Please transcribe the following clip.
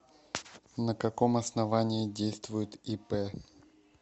на каком основании действует ип